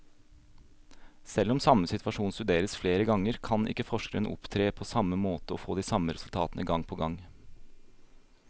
Selv om samme situasjon studeres flere ganger, kan ikke forskeren opptre på samme måte og få de samme resultatene gang på gang.